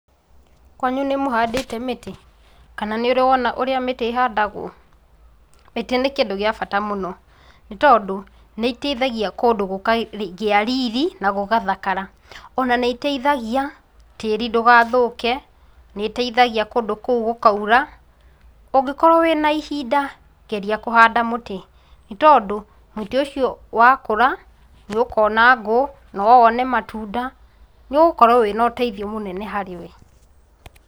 Kwanyu nĩ mũhandĩte mĩtĩ, kana nĩ ũri wona ũrĩa mĩtĩ ĩhandagwo? Mĩtĩ nĩ kĩndũ gĩa ata mũno. Nĩ tondũ, nĩ ĩiteithagia kũndũ gũkagĩa riri, na gũgathakara. Ona nĩ iteithagia, tĩĩri ndũgathũke, nĩ ĩteithagia kũndũ kũu gũkaura. Ũngĩkorwo wĩna ihinda, geria kũhanda mũtĩ. Nĩ tondũ, mũtĩ ũcio wa kũra, nĩ ũkona ngũ, no wone matunda, nĩ ũgũkorwo wĩna ũteithio mũnene harĩ we.